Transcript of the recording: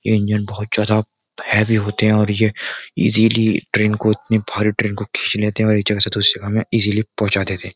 Engine बोहोत ज्यादा heavy होते हैं और ये इजिली ट्रेन को इतनी भारी ट्रेन को खींच लेते हैं और एक जगह से दूसरी जगह में इजिली पोहचा देते हैं।